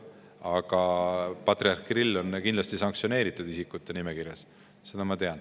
Aga patriarh Kirill on kindlasti sanktsioneeritud isikute nimekirjas, seda ma tean.